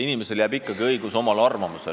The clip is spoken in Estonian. Inimesel on ikkagi õigus oma arvamusele.